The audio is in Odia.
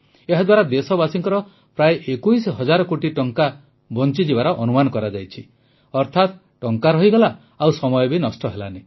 ଏହାଦ୍ୱାରା ଦେଶବାସୀଙ୍କର ପ୍ରାୟ 21 ହଜାର କୋଟି ଟଙ୍କା ବଂଚିଯିବାର ଅନୁମାନ କରାଯାଇଛି ଅର୍ଥାତ ଟଙ୍କା ରହିଗଲା ଆଉ ସମୟ ବି ନଷ୍ଟ ହେଲାନାହିଁ